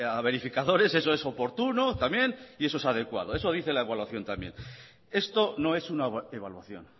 a verificadores eso es oportuno también y eso es adecuado eso dice la evaluación también esto no es una evaluación